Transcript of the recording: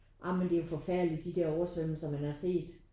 Ja men det er forfærdeligt de der oversvømmelser man har set